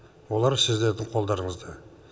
олар сіздердің қолдарыңызда